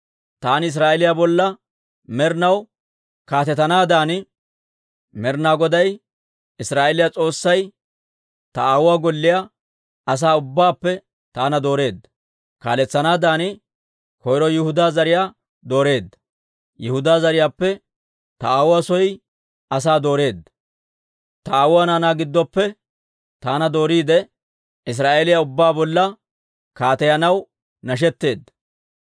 Taani Israa'eeliyaa bolla med'inaw kaatetanaadan, Med'inaa Goday Israa'eeliyaa S'oossay ta aawuwaa golliyaa asaa ubbaappe taana dooreedda. Kaaletsanaadan koyro Yihudaa zariyaa dooreedda; Yihudaa zariyaappe ta aawuwaa soy asaa dooreedda; ta aawuwaa naanaa giddoppe taana dooriide, Israa'eeliyaa ubbaa bolla kaateyanaw nashetteedda.